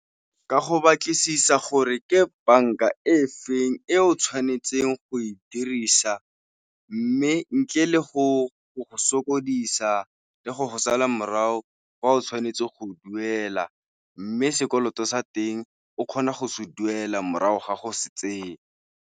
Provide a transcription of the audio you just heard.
Ka go batlisisa gore ke banka e feng e o tshwanetseng go e dirisa, mme ntle le go go sokodisa le go go sala morago ga o tshwanetse go duela, mme sekoloto sa teng o kgona go se duela morago ga go se tseye.